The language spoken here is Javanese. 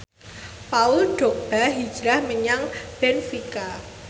Paul Dogba hijrah menyang benfica